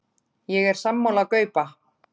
Ég er sammála Gaupa.